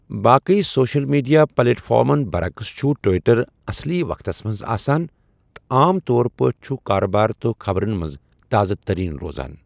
باقی social media پلیٹ فارمَن برعکس چھُ ٹوئٹر اَصلی وقتس منٛز آسان تہٕ عام طور پٲٹھۍ چھُ کارٕبار تہٕ خبرَن منٛز تازٕ تریٖن روزان۔